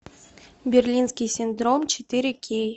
берлинский синдром четыре кей